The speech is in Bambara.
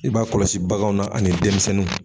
I b'a kɔlɔsi baganw na ani denmisɛnninw.